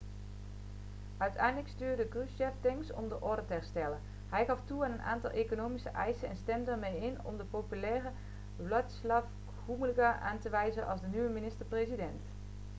uiteindelijk stuurde krushchev tanks om de orde te herstellen hij gaf toe aan een aantal economische eisen en stemde ermee in om de populaire wladyslaw gomulka aan te wijzen als de nieuwe minister-president